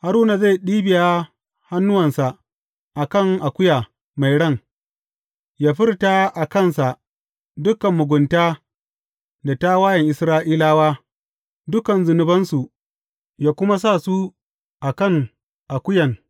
Haruna zai ɗibiya hannuwansa a kan akuya mai ran, yă furta a kansa dukan mugunta da tawayen Isra’ilawa, dukan zunubansu, yă kuma sa su a kan akuyan.